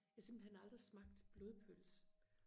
simpelthen aldrig smagt blodpølse